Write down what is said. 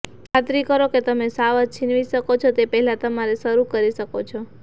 ખાતરી કરો કે તમે શાવર છીનવી શકો તે પહેલાં તમારે શરૂ કરી શકો છો